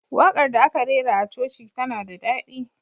Waƙar da aka rera a coci tana da daɗi.